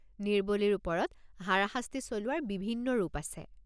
নিৰ্বলীৰ ওপৰত হাৰাশাস্তি চলোৱাৰ বিভিন্ন ৰূপ আছে।